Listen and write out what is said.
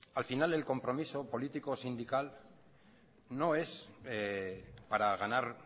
al final el compromiso político sindical no es para ganar